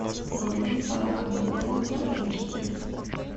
вруби пара гнедых ультра эйч ди